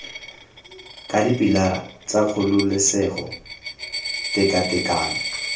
ka dipilara tsa kgololesego tekatekano